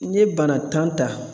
N ye bana tan ta